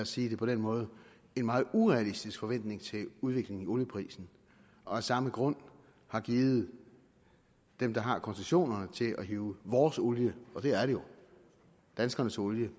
sige det på den måde en meget urealistisk forventning til udviklingen i olieprisen og af samme grund har givet dem der har koncessionerne til at hive vores olie danskernes olie